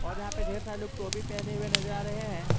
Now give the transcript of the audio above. और यहां पे ढेर सारे लोग टोपी पहने हुए नजर आ रहे हैं।